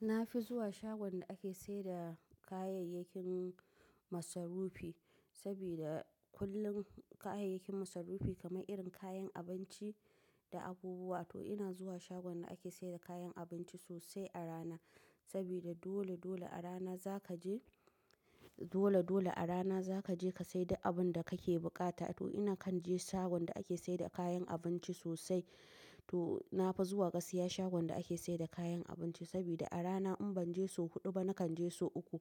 Na fi zuwa shagon da ake saida kayayyakin masarufi, sabida kullum kayayyakin masarufi kamar irin kayan abinci, da abubuwa to ina zuwa shagon da ake saida kayan abinci sosai a rana. Sabida dole dole a rana zaka je, dole dole a rana zaka je ka sai duk abun da kake buƙata. To ina kan je shagon da ake saida kayan abinci sosai. To nafi zuwa gasiya shagon da ake saida kayan abinci sabida a rana in ban je sau huɗu ba, nakan je sau uku.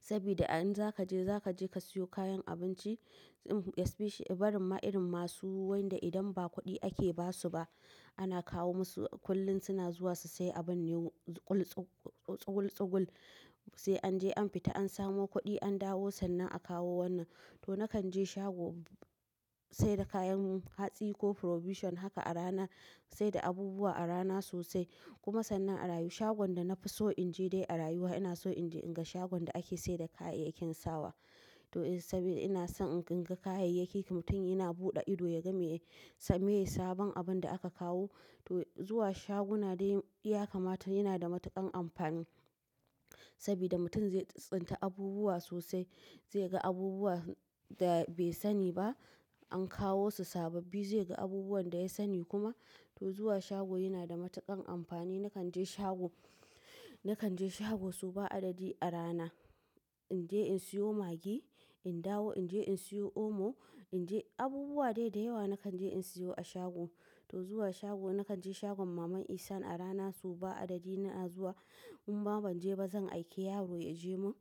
Sabida in zaka je, zaka je ka siyo kayan abinci, especially barin ma irin masu wanda idan ba kuɗi ake basu ba, ana kawo musu kullum suna zuwa su sayi abin ne tsugul tsugul sai an je an fita an samo kuɗi an dawo sannan a kawo wannan. To nakan je shago saida kayan hatsi ko provision haka a rana saida abubuwa a rana sosai. Kuma sannan a rayuwa shagon da nafi so in je dai a rayuwa ina so in je inga shagon da ake saida kayayyakin sawa. To sabida ina son in ga kayayyaki mutum yana buɗe ido ya ga me ya sa me sabon abun da aka kawo. To zuwa shaguna dai ya kamata yana da matuƙan amfani, sabida mutum zai tsintsinta abubuwa sosai, zai ga abubuwa da bai sani ba an kawo su sababbi. Zai ga abubuwan da ya sani kuma. To zuwa shago yana da matuƙan amfani. Nakan je shago, nakan je shago sau ba adadi a rana. In je in siyo Maggi, in dawo in je in siyo omo, in je, abubuwa daidai yawa nakan je in siyo a shago. To zuwa shago nakan je shagon maman Isan a rana sau ba adadi ina zuwa. In ma ban je ba zan aike yaro ya je mun.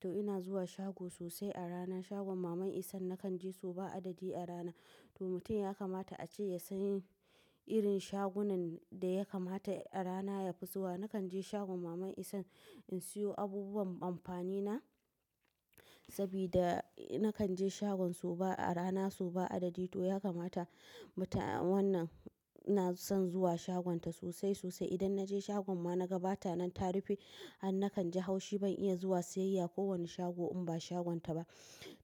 To ina zuwa shago sosai a rana shagon maman Isan nakan je sau ba adadi a rana. To mutum ya kamata ace ya san irin shagunan da ya kamata a rana ya fi zuwa. Nakan je shagon maman Ihsan in siyo abubuwan amfani na, sabida nakan je shagon su ba a rana sau ba adadi. To ya kamata mutum wannan na son zuwa shagonta sosai sosai. Idan na je shagon ma na ga bata nan ta rufe, an nakan ji haushi ban iya zuwa siyayya ko wani shago in ba shagonta ba.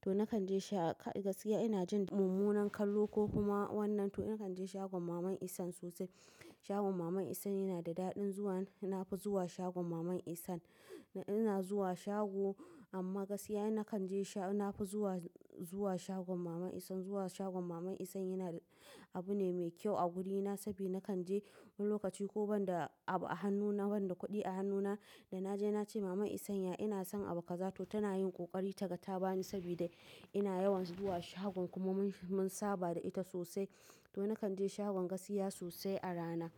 To nakan je sha gasiya ina jin mummunan kallo ko kuma wannan. To nakan je shagon maman Isan sosai. Shagon maman Isan yana da daɗin zuwan. Nafi zuwa shagon maman Isan. Ina zuwa shago amma gasiya nakan je sha nafi zuwa, zuwa shagon mama Isan. Zuwa shagon maman Isan yana abu ne mai kyau a gurina sabida nakan je wani lokaci ko banda a hannuna banda kuɗi a hannuna da naje nace maman Isan "ya ina son abokata" to tana yin ƙoƙari ta ta bani sabida ina yawan zuwa shagon kuma mun saba da ita sosai. To nakan je shagon gasiya sosai a rana.